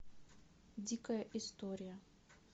дикая история